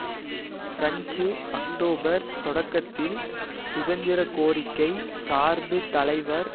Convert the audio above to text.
French October தொடக்கத்தில் சுதந்திர கோரிக்கை சார்பு தலைவர்